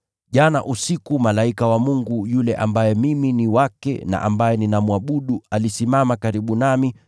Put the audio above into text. Jana usiku, malaika wa Mungu yule ambaye mimi ni wake na ambaye ninamwabudu alisimama karibu nami,